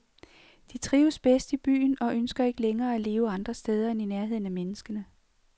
De trives bedst i byen og ønsker ikke længere at leve andre steder end i nærheden af menneskene.